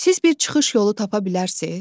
Siz bir çıxış yolu tapa bilərsiniz?